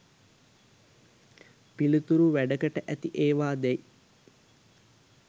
පිළිතුරු වැඩකට ඇති ඒවා දැයි